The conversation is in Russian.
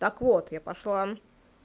так вот я пошла